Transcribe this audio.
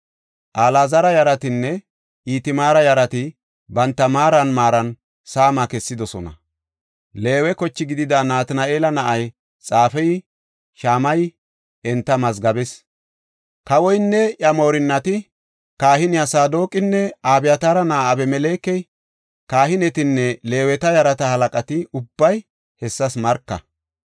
Alaazara yaratinne Itamaara yarati banta maaran maaran saama kessidosona. Leewe koche gidida Natina7eela na7ay xaafey Shamayey enta mazgabees. Kawoynne iya moorinnati, kahiney Saadoqinne Abyataara na7ay Abimelekey, kahinetanne Leeweta yarata halaqati ubbay hessas marka.